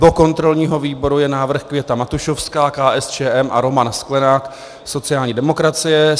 Do kontrolního výboru je návrh Květa Matušovská, KSČM, a Roman Sklenák, sociální demokracie.